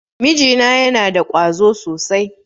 Miji na yana da ƙwazo sosai.